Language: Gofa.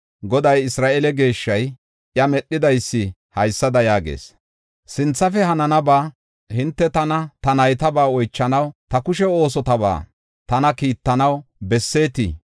Goday, Isra7eele Geeshshay, iya Medhidaysi haysada yaagees: “Sinthafe hananaba, hinte tana ta naytabaa oychanaw, ta kushe oosotaba tana kiittanaw bessetii?